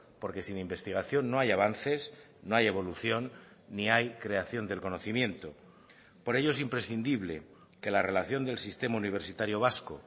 porque sin investigación no hay avances no hay evolución ni hay creación del conocimiento por ello es imprescindible que la relación del sistema universitario vasco